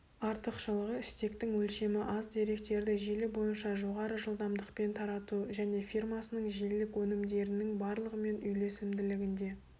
артықшылығы стектің өлшемі аз деректерді желі бойынша жоғары жылдамдықпен тарату және фирмасының желілік өнімдерінің барлығымен үйлесімділігінде